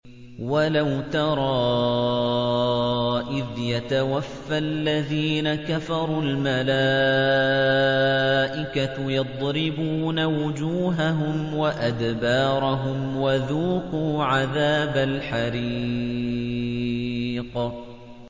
وَلَوْ تَرَىٰ إِذْ يَتَوَفَّى الَّذِينَ كَفَرُوا ۙ الْمَلَائِكَةُ يَضْرِبُونَ وُجُوهَهُمْ وَأَدْبَارَهُمْ وَذُوقُوا عَذَابَ الْحَرِيقِ